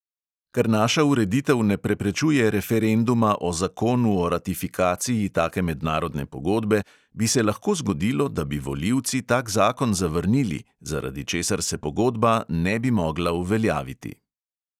Ker naša ureditev ne preprečuje referenduma o zakonu o ratifikaciji take mednarodne pogodbe, bi se lahko zgodilo, da bi volivci tak zakon zavrnili, zaradi česar se pogodba ne bi mogla uveljaviti.